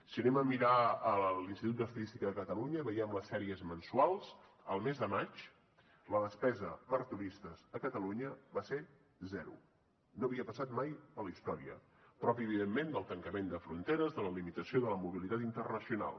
si anem a mirar l’institut d’estadística de catalunya i veiem les sèries mensuals al mes de maig la despesa per turistes a catalunya va ser zero no havia passat mai a la història propi evidentment del tancament de fronteres de la limitació de la mobilitat internacional